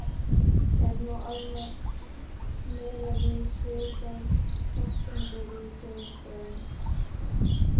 Er nú almennt miðað við svipaðar forsendur í þjóðfræðinni.